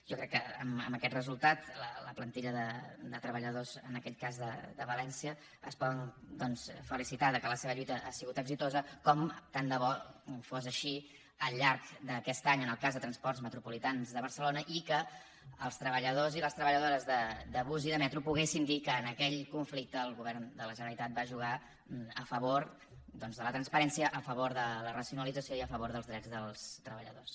jo crec que amb aquest resultat la plantilla de treballadors en aquell cas de valència es poden felicitar que la seva lluita ha sigut exitosa com tant de bo fos així al llarg d’aquest any en el cas de transports metropolitans de barcelona i que els treballadors i les treballadores de bus i de metro poguessin dir que en aquell conflicte el govern de la generalitat va jugar a favor doncs de la transparència a favor de la racionalització i a favor dels drets dels treballadors